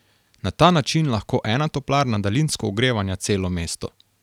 Na ta način lahko ena toplarna daljinsko ogrevanja celo mesto.